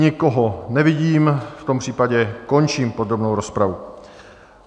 Nikoho nevidím, v tom případě končím podrobnou rozpravu.